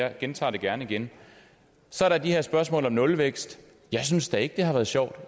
jeg gentager det gerne gerne så er der de her spørgsmål om nulvækst jeg synes da ikke det har været sjovt